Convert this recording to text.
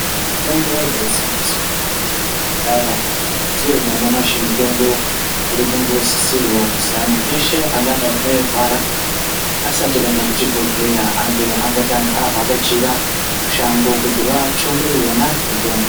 Mitombo yaiseenzeswa kudhaya ndiyona nyamashi mitombo ingosisirwa kuti anhu ese angadai achirwara asati aenda kuchibhedhlera ange atange avhakachira mushango kuti vatumbe yona mitombo.